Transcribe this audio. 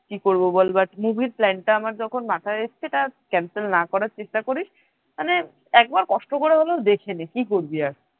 কি করব বল movie plan টা যখন আমার মাথায় এসেছে তা cancel না করার চেষ্টা করিস মানে একবার কষ্ট করে হলে দেখে নে কি করবি আর?